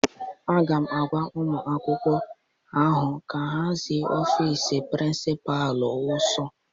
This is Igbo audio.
Aga m agwa ụmụ akwụkwọ ahụ ka ha zaa ọfịịsi pirincipalu ọsọ!